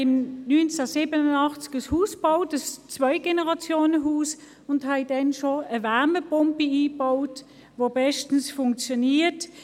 Wir haben im Jahr 1987 ein Zwei-Generationen-Haus gebaut und schon damals eine Wärmepumpe eingebaut, die bestens funktioniert.